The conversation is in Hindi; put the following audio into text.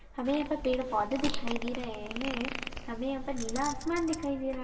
हमे यहा पर पेड़ पौधे दिखाई दे रहे है हमे यहा पर नीला आसमान दिखाई दे र--